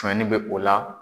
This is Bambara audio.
Tɔɲɔnni bɛ o la.